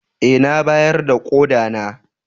Eh na bayar da koda na.